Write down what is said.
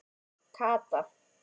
Kata